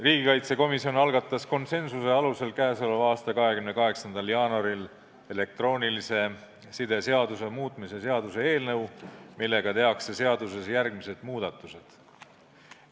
Riigikaitsekomisjon algatas k.a 28. jaanuaril konsensuse alusel elektroonilise side seaduse muutmise seaduse eelnõu, millega tehakse seaduses järgmised muudatused.